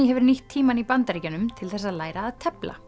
hefur nýtt tímann í Bandaríkjunum til þess að læra að tefla